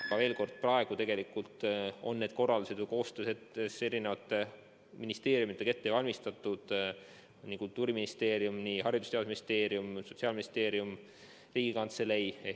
Ma kordan, et praegu on need korraldused ette valmistatud koostöös eri ministeeriumidega, need on Kultuuriministeerium, Haridus- ja Teadusministeerium ja Sotsiaalministeerium, samuti Riigikantseleiga.